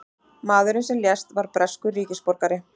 Maðurinn sem lést var breskur ríkisborgari